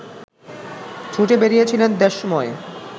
ছুটে বেড়িয়েছিলেন দেশময়